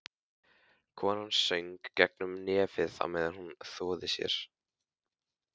Konan söng gegnum nefið á meðan hún þvoði sér.